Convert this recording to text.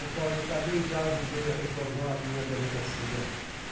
O qual eu também já ajudei a reformar a minha delegacia.